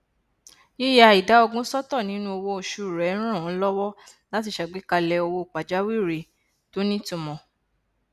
yìya ìdá ogún sọtọ nínú owó oṣù rẹ ràn án lọwọ láti ṣàgbékalẹ owó pàjáwìrì tó nítumọ